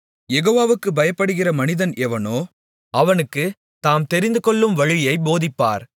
யெகோவாவுக்குப் பயப்படுகிற மனிதன் எவனோ அவனுக்குத் தாம் தெரிந்துகொள்ளும் வழியைப் போதிப்பார்